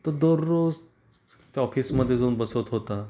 तो दररोज त्या ऑफिस मध्ये जाऊन बसत होता.